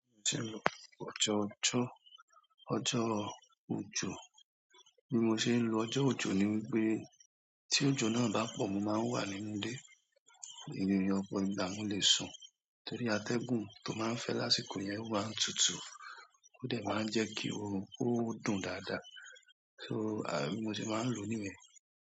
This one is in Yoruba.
Mo tí ń lo, ojo ọjọ́, ọjọ́ o òjò. Bí mo ṣé ń lo ọjọ́ òjò ni wípé tí òjò náà bá pọ̀, mo máa ń wà nínú ilé, ìrìrì òpò ìgbà mo lè sùn torí atẹ́gùn tó máa ń fẹ́ lásìkò yẹn ó máa n tutù ó dẹ̀ máa ń jẹ́ kí orun kí ó dùn dáadáa. Bí mo se máa ń lò ó nìyen.